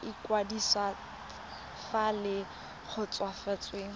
sa ikwadiso fa le kgotsofetse